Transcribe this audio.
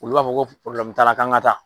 Olu b'a fɔ ko t'a la k'an ka taa.